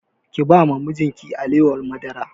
Ki ba wa mijin ki alewar madara!